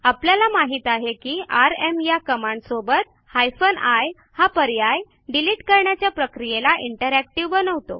आपल्याला माहित आहे की आरएम या कमांडसोबत हायफेन आय हा पर्याय डिलिट करण्याच्या प्रक्रियेला इंटरॅक्टिव्ह बनवतो